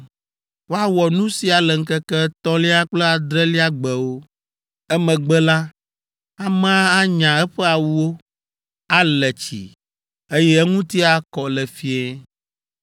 Woawɔ nu sia le ŋkeke etɔ̃lia kple adrelia gbewo. Emegbe la, amea anya eƒe awuwo, ale tsi, eye eŋuti akɔ le fiẽ.